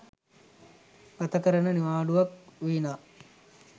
ගතකරන නිවාඩුවක් විනා